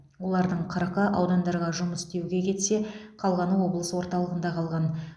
олардың қырқы аудандарға жұмыс істеуге кетсе қалғаны облыс орталығында қалған